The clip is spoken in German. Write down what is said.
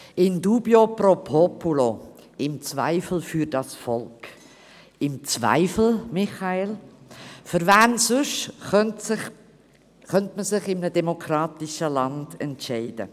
In dubio pro populo – im Zweifelsfall für das Volk, im Zweifelsfall, Michael Köpfli? – Für wen sonst könnte man sich in einem demokratischen Land entscheiden?